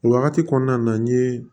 O wagati kɔnɔna na n ye